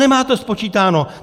Nemáte to spočítáno!